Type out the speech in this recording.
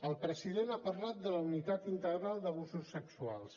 el president ha parlat de la unitat integral d’abusos sexuals